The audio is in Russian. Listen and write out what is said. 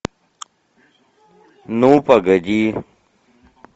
ну погоди